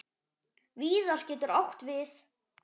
Víðar getur átt við